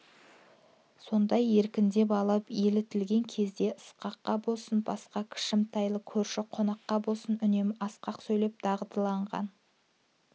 сондай еркіндеп алып елтіген кезде ысқаққа болсын басқа кішімтайлы көрші қонаққа болсын үнемі асқақ сөйлеп дағдыланған